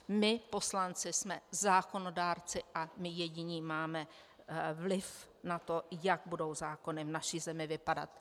My, poslanci, jsme zákonodárci a my jediní máme vliv na to, jak budou zákony v naší zemi vypadat.